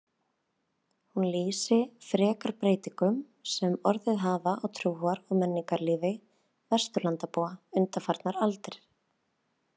Hún lýsi frekar breytingum sem orðið hafa á trúar- og menningarlífi Vesturlandabúa undanfarnar aldir.